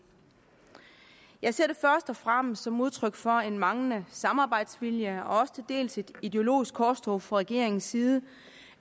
jeg ser det først og fremmest som udtryk for en manglende samarbejdsvilje og også til dels som et ideologisk korstog fra regeringens side